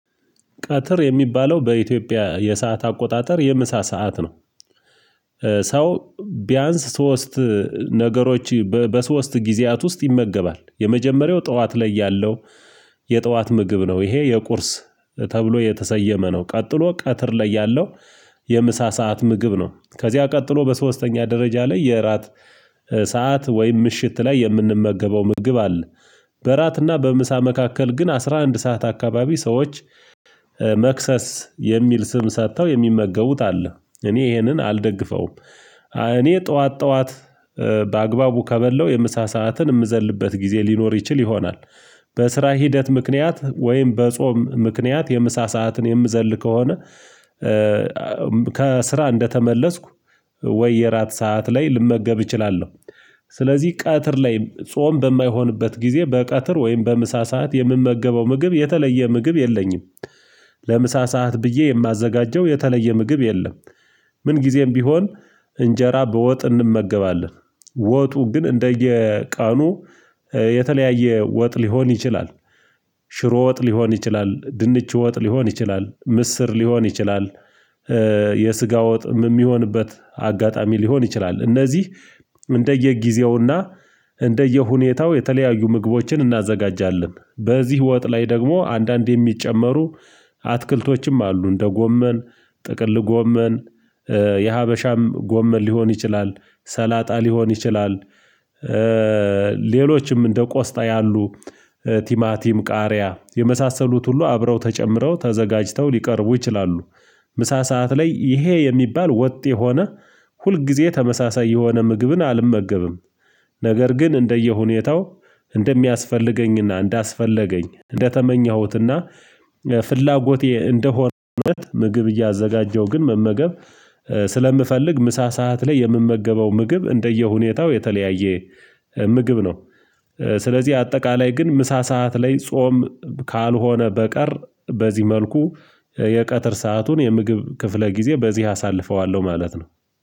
ቀትር የሚባለው በኢትዮጵያ የሰዓት አቆጣጠር የምሳ ሰዓት ነው። ሰው ቢያንስ ሶስት ነገሮች በሶስት ጊዜያት ውስጥ ይመገባል የመጀመሪያው ጡዋት ላይ ያለው የጡዋት ምግብ ነው። ይሄ የቁርስ ተብሎ የተሰየመ ነው ቀጥሎ ቀትር ላይ ያለው የምሳ ሰዓት ምግብ ነው። ከዚያ ቀጥሎ በሶስተኛ ደረጃ ላይ የእራት ሰዓት ወይም ምሽት ላይ የምንመገበው ምግብ አለ። በራትና በምሳ መካከል ግን አስራ አንድ ሰዓት አካባቢ ሰዎች መክሰስ የሚል ስም ሰጥተው የሚመገቡት አለ። እኔ ይሄንን አልደግፈውም እኔ ጡዋት ጡዋት በአግባቡ ከበላው የምሳ ሰዓትን የምዘልበት ጊዜ ሊኖር ይችል ይሆናል። በስራ ሂደት ምክንያት ወይም በጾም ምክንያት የምሳ ሰዓትን የምዘል ከሆነ ከስራ እንደተመለስኩ ወይ የራት ሰዓት ላይ ልመገብ እችላለው። ስለዚህ ቃትር ላይ ጾም በማይሆንበት ጊዜ በቀትር ወይም በምሳ ሰዓት የምመገበው ምግብ የተለየ ምግብ የለኝም። ለምሳ ሰዓት ብዬ የማዘጋጀው የተለየ ምግብ የለም። ምን ጊዜም ቢሆን እንጄራ በወጥ እንመገባለን ወጡ ግን እንደየቀኑ የተለያየ ወጥ ሊሆን ይችላል። ሽሮ ወጥ ሊሆን ይችላል ድንች ወጥ ሊሆን ይችላል ምስር ሊሆን ይችላል የስጋ ወጥ የሚሆንበት አጋጣሚ ሊሆን ይችላል። እነዚህ እንደየጊዜውና እንደየሁኔታው የተለያዩ ምግቦችን እናዘጋጃለን። በዚህ ወጥ ላይ ደግሞ አንዳንድ የሚጨመሩ አትክልቶችም አሉ እንደ ጎመን ጥቅል ጎመን የሀበሻም ጎመን ሊሆን ይችላል ሰላጣ ሊሆን ይችላል ሌሎችም እንደ ቆስጣ ያሉ ቲማቲም ቃሪያ የመሳሰሉት ሁሉ አብረው ተጨምረው ተዘጋጅቶ ሊቀርቡ ይችላሉ። ምሳ ሰዓት ላይ ይሄ የሚባል ወጥ የሆነ ሁልጊዜ ተመሳሳይ የሆነ ምግብን አልመገብም። ነገር ግን እንደየሁኔታው እንደሚያስፈልገኝና እንዳስፈለገኝ እንደተመኘሁትና ፍላጎቴ እንደሆነ ምግብ እያዘጋጀው ግን መመገብ ስለምፈልግ ምሳ ሰዓት ላይ የምመገበው ምግብ እንደየሁኔታው የተለያየ ምግብ ነው። ስለዚህ አጠቃላይ ግን ምሳ ሰዓት ላይ ጾም ካልሆነ በቀር በዚህ መልኩ የቀትር ሰአቱን የምግብ ክፍለ ጊዜ በዚህ አሳልፈዋለሁ ማለት ነው።